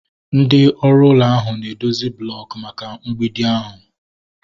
Ndị ọrụ ụlọ ahụ na edozi blooku maka mgbidi ahu